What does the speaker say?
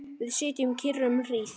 Við sitjum kyrr um hríð.